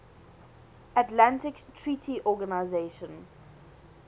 atlantic treaty organisation